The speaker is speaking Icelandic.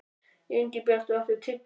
Ingibjartur, áttu tyggjó?